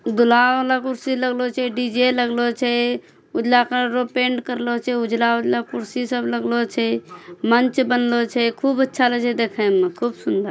दूल्हा वाला कुर्सी लग्लो छे। डी_जे लग्लो छे। उजला कलर रो पेंट करलो छै। उजला-उजला कुर्सी सब लग्लो छे मंच बनलो छे। खूब अच्छा लगे छे देखे मा खूब सुन्दर।